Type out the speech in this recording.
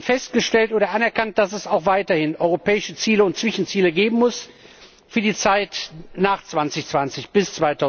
festgestellt oder anerkannt, dass es auch weiterhin europäische Ziele und Zwischenziele geben muss für die Zeit nach 2020 bis